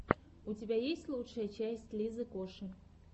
у тебя есть лучшая часть лизы коши